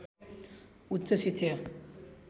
उच्च शिक्षा